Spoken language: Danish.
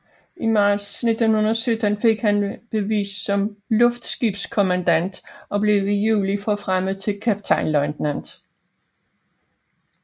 I marts 1917 fik han bevis som luftskibskommandant og blev i juli forfremmet til kaptajnløjtnant